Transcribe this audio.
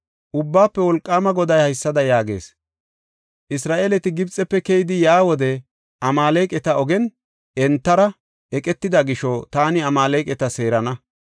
Ubbaafe Wolqaama Goday haysada yaagees; ‘Isra7eeleti Gibxefe keyidi yaa wode Amaaleqati ogen entara eqetida gisho taani Amaaleqata seerana.